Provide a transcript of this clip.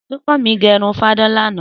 Súnkànmí gẹ irun fadán lánàá